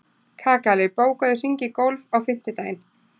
Kakali, bókaðu hring í golf á fimmtudaginn.